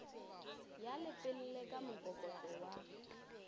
ya lepelle ka mokokotlo wa